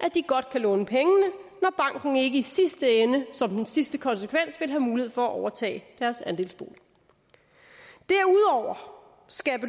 at de godt kan låne pengene når banken ikke i sidste ende som den sidste konsekvens vil have mulighed for at overtage deres andelsbolig derudover skal